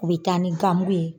U bɛ taa ni ganmugu ye.